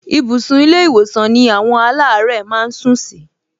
Ibùsùn ilé-ìwòsàn ni àwọn aláàárẹ̀ máa ń sún sí